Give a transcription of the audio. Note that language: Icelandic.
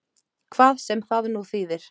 Hvað sem það nú þýðir!